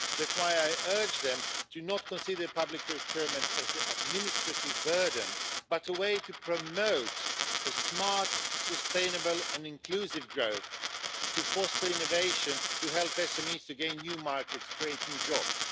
That's why I urge them to not consider public procurement as an administrative burden, but a way to promote a smart, sustainable and inclusive growth, to force innovation to help SMEs to gain new markets, create new jobs.